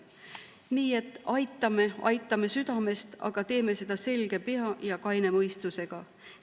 Nii et aitame, aitame südamest, aga teeme seda selge pea ja kaine mõistusega.